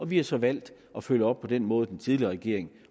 vi har så valgt at følge op på den måde den tidligere regering